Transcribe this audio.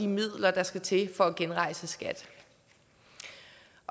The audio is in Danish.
midler der skal til for at genrejse skat